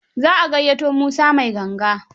Za a gayyato Musa mai ganga?